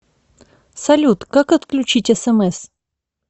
салют как отключить смс